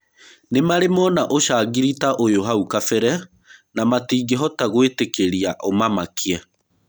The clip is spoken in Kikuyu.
Nĩmarĩ Mona ũcangiri ta ũyũhau kabere na matingĩhota gwĩtĩkĩria ũmamakie.